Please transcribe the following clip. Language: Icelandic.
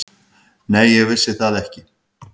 Nei, ég vissi það ekki.